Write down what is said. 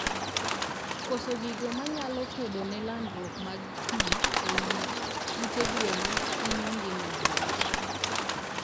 Koso gigo manyalo kedone landruok mag pii eiy ute gwen hinyo ngima gwen